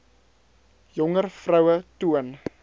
jonger vroue toon